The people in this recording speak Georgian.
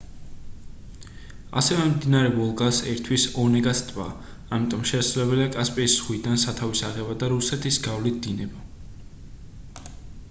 ასევე მდინარე ვოლგას ერთვის ონეგას ტბა ამიტომ შესაძლებელია კასპიის ზღვიდან სათავის აღება და რუსეთის გავლით დინება